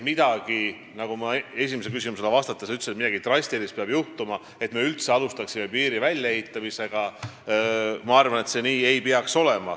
Ja nagu ma esimesele küsimusele vastates ütlesin, ei peaks olema nii, et juhtub midagi drastilist, enne kui me üldse alustame piiri väljaehitamist.